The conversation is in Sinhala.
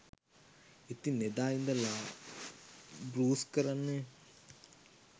ඉතින් එදා ඉදලා බෲස් කරන්නේ